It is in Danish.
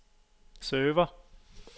server